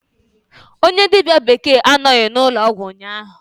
Onye dibia bekee anọghị n'ụlọọgwụ ụnyahụ.